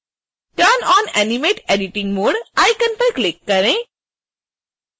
turn on animate editing mode icon पर click करें